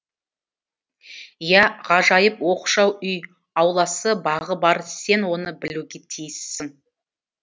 иә ғажайып оқшау үй ауласы бағы бар сен оны білуге тиіссің